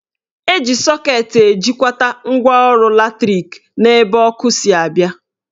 Eji sọket ejikwata ngwaọrụ latrik n'ebe ọkụ si abịa